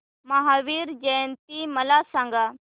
महावीर जयंती मला सांगा